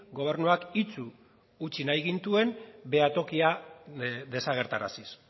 gobernuak itsu utzi nahi gintuen behatokia desagerraraziz